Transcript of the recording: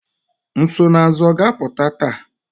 Nsonaazụ ọ ga-apụta taa?